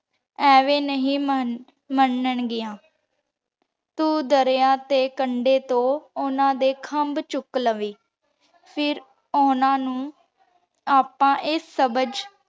ਇਵੇਂ ਨਹੀ ਮਨ ਮਨਾਂ ਡਿਯਨ ਤੂ ਦਰਯਾ ਦੇ ਕੰਡੇ ਤੋਂ ਓਹਨਾਂ ਦੇ ਖੰਭ ਚੂਕ ਲਾਵੇ ਫੇਰ ਓਹਨਾਂ ਨੂ ਆਪਾਂ ਆਯ ਸਬਝ